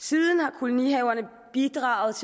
siden har kolonihaverne bidraget